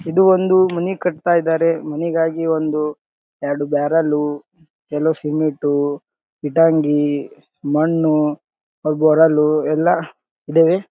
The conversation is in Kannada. ಇದು ಒಂದು ಮನೆ ಕಟುತ್ತ ಇದ್ದಾರೆ ಮನೆಗಾಗಿ ಒಂದು ಎರಡು ಬರೆಲ್ಲು ಎಲ್ಲ ಸಿಮೆಂಟು ಇಟಾಂಗ್ಗಿ ಮಣ್ಣು ಗೊರಲು ಎಲ್ಲ ಇದವೆ.